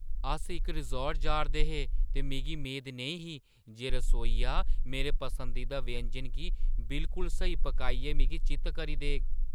अस इक रिसॉर्ट जा 'रदे हे ते मिगी मेद नेईं ही जे रसोइया मेरे पसंदीदा व्यंजन गी बिलकुल स्हेई पकाइयै मिगी चित्त करी देग।